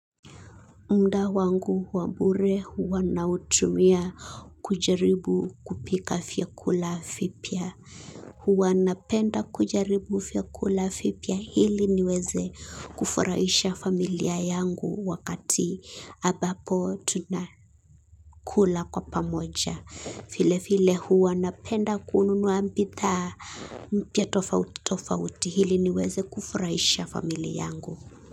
Mda wangu wabure huwana utumia kujaribu kupika fiakula fipia. Huwana penda kujaribu fiakula fipia hili niweze kufuraisha familia yangu wakati abapo tuna kula kwa pamoja file file huwana penda kununua mbidhaa mpya tofauti tofauti hili niweze kufurahisha familia yangu.